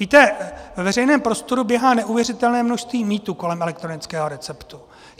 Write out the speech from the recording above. Víte, ve veřejném prostoru běhá neuvěřitelné množství mýtů kolem elektronického receptu.